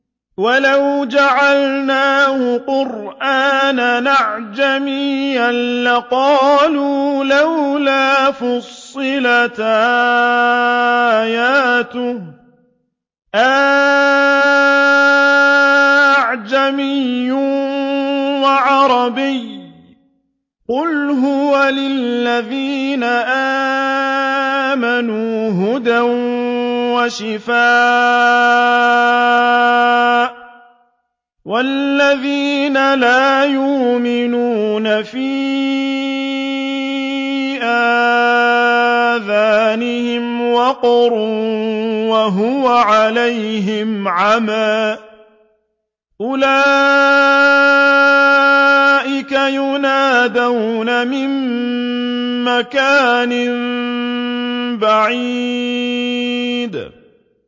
وَلَوْ جَعَلْنَاهُ قُرْآنًا أَعْجَمِيًّا لَّقَالُوا لَوْلَا فُصِّلَتْ آيَاتُهُ ۖ أَأَعْجَمِيٌّ وَعَرَبِيٌّ ۗ قُلْ هُوَ لِلَّذِينَ آمَنُوا هُدًى وَشِفَاءٌ ۖ وَالَّذِينَ لَا يُؤْمِنُونَ فِي آذَانِهِمْ وَقْرٌ وَهُوَ عَلَيْهِمْ عَمًى ۚ أُولَٰئِكَ يُنَادَوْنَ مِن مَّكَانٍ بَعِيدٍ